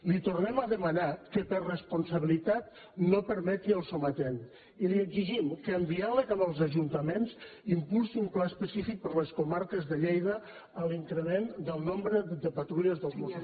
li tornem a demanar que per responsabilitat no permeti el sometent i li exigim que amb diàleg amb els ajuntaments impulsi un pla específic per a les comarques de lleida per a l’increment del nombre de patrulles dels mossos